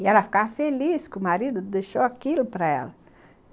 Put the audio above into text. E ela ficava feliz que o marido deixou aquilo para ela.